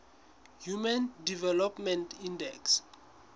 human development index